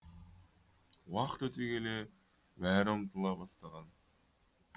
уақыт өте келе бәрі ұмытыла бастаған